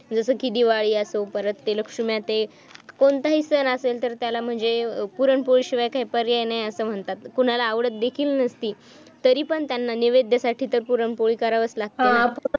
जस कि दिवाळी असो परत लक्षूम्या ते कोणताही सण असेल तर त्याला पुरणपोळी शिवाय काही पर्याय नाही असं म्हणतात कुणाला आवडत देखील नसती तरी पण त्यांना नैवेद्यासाठी तर पुरणपोळी करावीच लागते ना